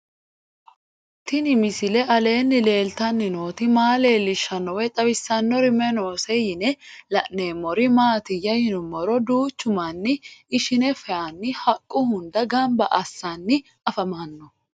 Tenni misile aleenni leelittanni nootti maa leelishshanno woy xawisannori may noosse yinne la'neemmori maattiya yinummoro duuchu manni ishinne fayiinni haqqu hunda ganba assanni afammanno